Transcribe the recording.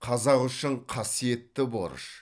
қазақ үшін қасиетті борыш